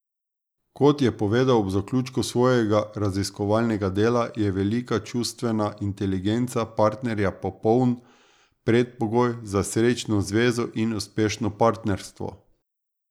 Kot je povedal ob zaključku svojega raziskovalnega dela, je velika čustvena inteligenca partnerja popoln predpogoj za srečno zvezo in uspešno partnerstvo.